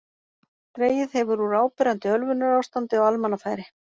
Dregið hefur úr áberandi ölvunarástandi á almannafæri.